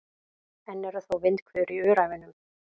Enn eru þó vindhviður í Öræfunum